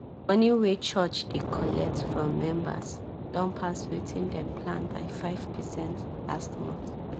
money wey church dey collect from members don pass wetin dem plan by 5 percent last month